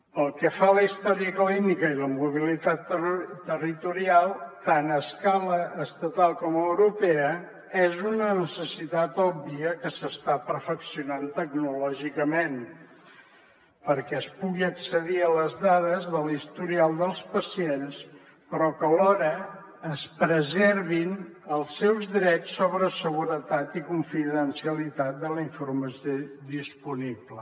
pel que fa a la història clínica i la mobilitat territorial tant a escala estatal com europea és una necessitat òbvia que s’està perfeccionant tecnològicament perquè es pugui accedir a les dades de l’historial dels pacients però que alhora es preservin els seus drets sobre seguretat i confidencialitat de la informació disponible